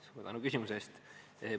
Suur tänu küsimuse eest!